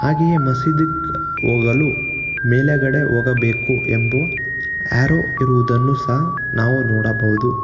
ಹಾಗೆಯೇ ಮಸೀದಿ ಹೋಗಲು ಮೇಲಗಡೆ ಹೋಗಬೇಕು ಎಂಬುವ ಅರೋ ಇರುವುದನ್ನು ಸಹ ನಾವು ನೋಡಬಹುದು.